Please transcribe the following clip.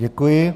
Děkuji.